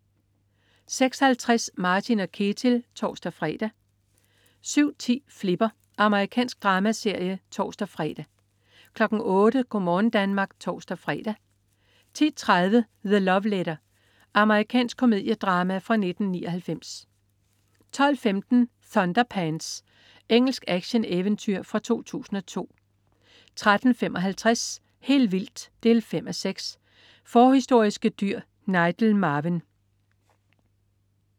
06.50 Martin & Ketil (tors-fre) 07.10 Flipper. Amerikansk dramaserie (tors-fre) 08.00 Go' morgen Danmark (tors-fre) 10.30 The Love Letter. Amerikansk komediedrama fra 1999 12.15 Thunderpants. Engelsk actioneventyrfilm fra 2002 13.55 Helt vildt 5:6. Forhistoriske dyr. Nigel Marven